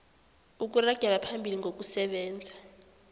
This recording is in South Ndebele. ukuragela phambili ngokusebenza